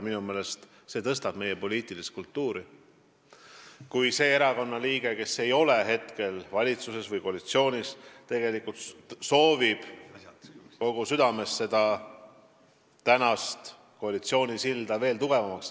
Minu meelest see tõstab meie poliitilist kultuuri, kui see erakonna liige, kes ei ole hetkel valitsuses või koalitsioonis, soovib kogu südamest ehitada koalitsioonisilda veel tugevamaks.